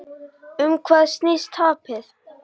Um hvað snýst tapið?